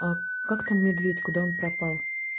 а как там медведь куда он пропал